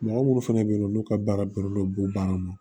Mɔgɔ munnu fɛnɛ be yen nɔn n'u ka baara bɛnnen don baara ma